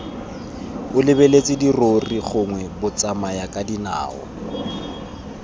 o lebeletse dirori gongwe batsamayakadinao